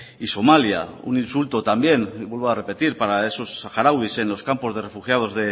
y somalia un insulto también vuelvo a repetir para esos saharauis en los campos de refugiados